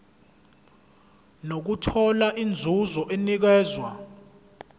nokuthola inzuzo enikezwa